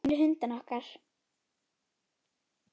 Gömlu hundana okkar.